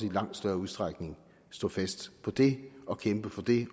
langt større udstrækning stå fast på det og kæmpe for det